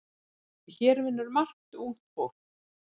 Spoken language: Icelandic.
Hér vinnur margt ungt fólk.